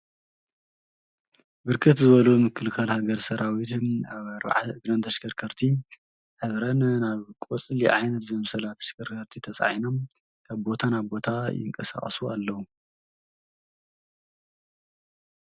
ብርክት ዝበሉ ምክልካል ሃገር ሠራዊት ኣብ ኣርብዓ እግርንተሽከርከርቲ ኅብረን ናብ ቈጽሊ ዓይነት ዘምሰላ ተሽከርከርቲ ተፃዒኖም ካብቦታ ናቦታ ይንቀሣቀሱ ኣለዉ።